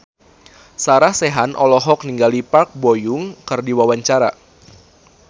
Sarah Sechan olohok ningali Park Bo Yung keur diwawancara